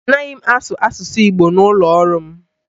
A naghị asụ asụsụ Igbo n'ụlọ ọrụ m